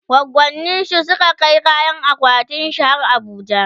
goggoninshi Suka je Kai akwatin aurenshi har abuja